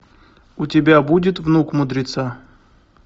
у тебя будет внук мудреца